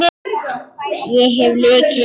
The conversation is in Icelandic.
Ég hef lykil.